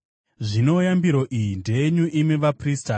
“Zvino yambiro iyi ndeyenyu, imi vaprista.